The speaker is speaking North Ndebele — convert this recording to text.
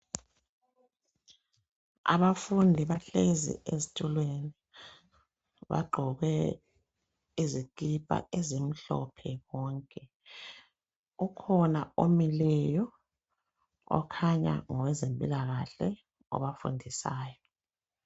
Abafundi bahlezi ezitulweni, bagqoke izikipa ezimhlophe bonke. Ukhona omileyo okhanya ngowezempilakahle, obafundisayo.